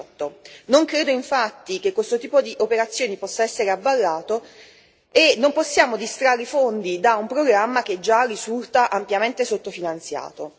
2018. Non credo, infatti, che questo tipo di operazioni possa essere avallato e non possiamo distrarre fondi da un programma che già risulta ampiamente sottofinanziato.